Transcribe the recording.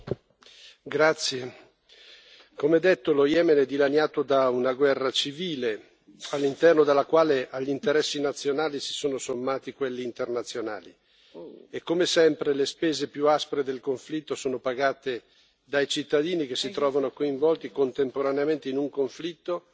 Signora Presidente, onorevoli colleghi, come detto, lo Yemen è dilaniato da una guerra civile, all'interno della quale agli interessi nazionali si sono sommati quelli internazionali. Come sempre, le spese più aspre del conflitto sono pagate dai cittadini che si trovano coinvolti contemporaneamente in un conflitto